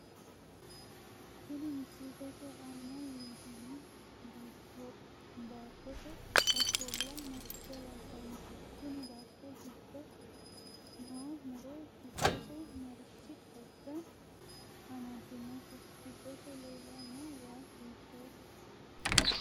Tini misilete aana leeltano baattote ofolla maricho labbanohe tini baato giddo noo muro giddose marichi xagga amadinote giddose leelano wayi hiitoho